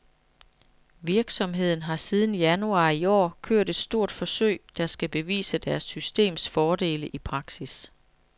Virksomheden har siden januar i år kørt et stort forsøg, der skal bevise deres systems fordele i praksis.